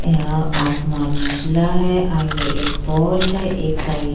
यहाँ आसमान उजला है | आगे एक पोल है | एक साइड --